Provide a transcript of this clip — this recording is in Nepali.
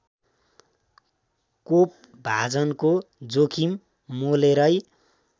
कोपभाजनको जोखिम मोलेरै